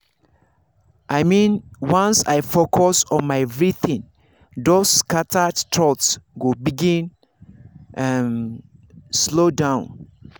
i mean once i focus on my breathing those scattered thoughts go begin um slow down.